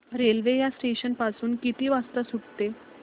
railway या station पासून किती वाजता सुटते